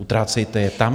Utrácejte je tam...